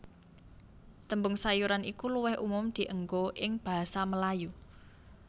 Tembung sayuran iku luwih umum dienggo ing basa Melayu